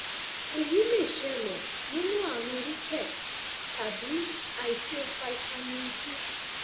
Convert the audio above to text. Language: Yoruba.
èyí lè ṣẹlẹ nínú ààrùn rickets tàbí àìtó fítámì d